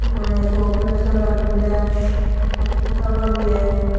वाले सौंपनर सगला मिल और किताबा भी है।